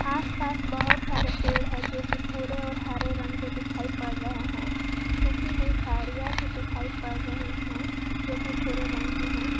आसपास बहुत सारे पेड़ है जो कि भूरे और हरे रंग के दिखाई पड़ रहे हैं सूखी हुई झाड़ियां भी दिखाई पड़ रही हैं जो की भूरे रंग की है।